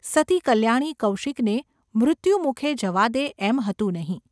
સતી કલ્યાણી કૌશિકને મૃત્યુમુખે જવા દે એમ હતું નહિ.